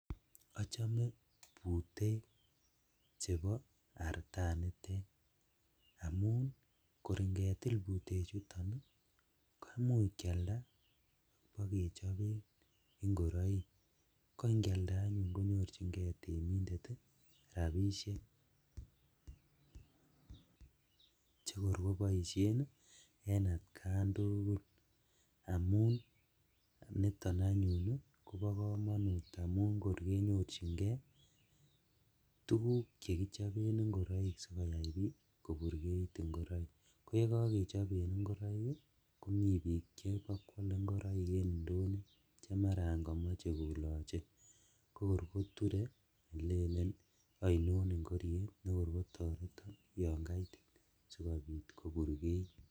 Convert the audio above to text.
Ochome butek chebo artanitet amun kor ingetil betuchutok ii koimuch kialda ak kechoben ingoroik, ko ikialda anyun konyorjingee temindet rabishek, chekor koboishen en atkan tugul amun niton anyuun kobo komonut amun kor konyorjingee tuguk chekichoben ingoroik sikoyai koburkeit ingoroik, koyekokechoben ingoroik ii komi bik chebokwole ingoroik en indonyo chemaran komoche koloche kokor koture kolelen oinon ingoriet nekor kotoreton yon kaitit sikobit koburkeit.